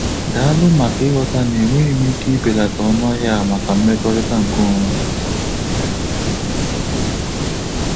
Daalụ maka ịghọta na enweghị m ike ibelata ọnụahia maka mmekọrịta nkeonwe.